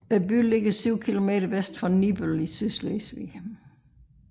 Byen ligger 7 kilometer vest for Nibøl i Sydslesvig